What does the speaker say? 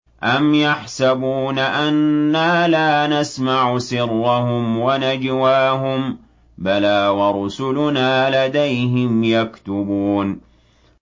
أَمْ يَحْسَبُونَ أَنَّا لَا نَسْمَعُ سِرَّهُمْ وَنَجْوَاهُم ۚ بَلَىٰ وَرُسُلُنَا لَدَيْهِمْ يَكْتُبُونَ